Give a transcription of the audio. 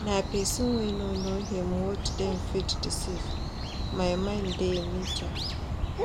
Na pesin wey no know im worth dem fit deceive, my mind dey di mata.